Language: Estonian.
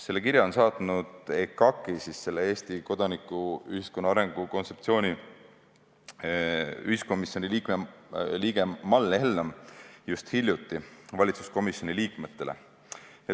Selle kirja on saatnud EKAK-i ehk Eesti kodanikuühiskonna arengu kontseptsiooni ühiskomisjoni liige Mall Hellam hiljuti valitsuskomisjoni liikmetele.